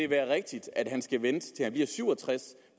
være rigtigt at han skal vente til han bliver syv og tres